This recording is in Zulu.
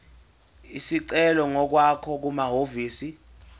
isicelo ngokwakho kumahhovisi